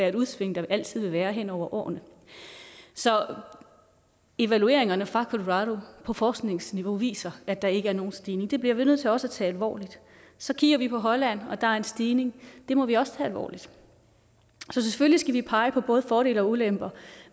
et udsving der altid vil være hen over årene så evalueringerne fra colorado på forskningsniveau viser at der ikke er nogen stigning det bliver vi nødt til også at tage alvorligt så kigger vi på holland og der er en stigning det må vi også tage alvorligt så selvfølgelig skal vi pege på både fordele og ulemper